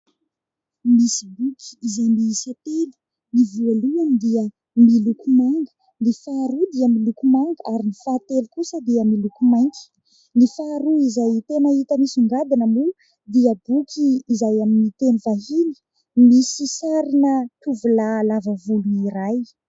Misy boky izay miisa telo : ny voalohany dia miloko manga, ny faharoa dia miloko manga ary ny fahatelo kosa dia miloko mainty. Ny faharoa izay tena hita misongadina moa dia boky izay amin'ny teny vahiny, misy sarina tovolahy lava volo iray.